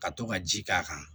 Ka to ka ji k'a kan